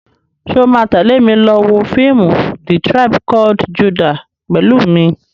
Ṣo ma tẹ́lè mi lọ wọ fíìmù "The tribe called Judah" pẹ̀lú mi?